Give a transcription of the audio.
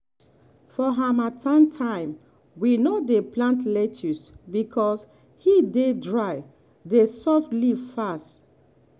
for harmattan time we no dey plant lettuce because heat dey dry the soft leaf fast.